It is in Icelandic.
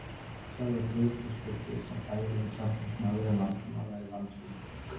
Sjálfur var Friðrik þess fullviss, að þægilegri samstarfsmaður en Valdimar væri vandfundinn.